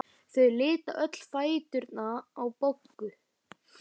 Þau litu öll á fæturna á Boggu.